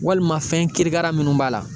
Walima fɛn kirikara minnu b'a la